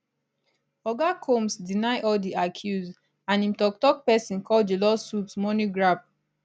oga combs deny all di accuse and im toktok pesin call di lawsuits money grab